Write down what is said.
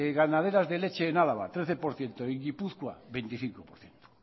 ganaderas de leche en álava trece por ciento y en guipúzcoa veinticinco por ciento